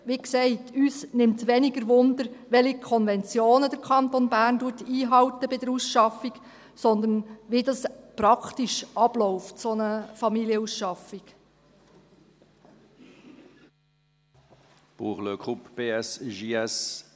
Wie gesagt: Uns nimmt es weniger wunder, welche Konventionen der Kanton Bern bei der Ausschaffung einhält, sondern wie so eine Familienausschaffung praktisch abläuft.